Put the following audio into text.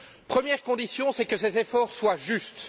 Première condition que ces efforts soient justes.